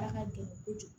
A ka gɛlɛn kojugu